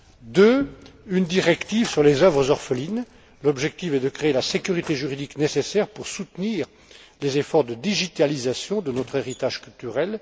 Deuxièmement, une directive sur les œuvres orphelines l'objectif est de créer la sécurité juridique nécessaire pour soutenir les efforts de numérisation de notre héritage culturel.